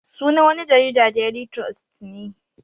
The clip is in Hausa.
Sunan wani jarida daily trust ne